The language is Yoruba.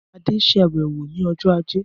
Adé ṣàbẹ̀wò ní ọjọ́ ajé